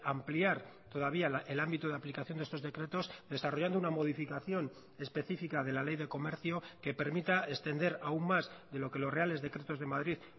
ampliar todavía el ámbito de aplicación de estos decretos desarrollando una modificación específica de la ley de comercio que permita extender aún más de lo que los reales decretos de madrid